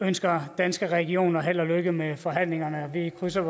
ønsker danske regioner held og lykke med forhandlingerne vi krydser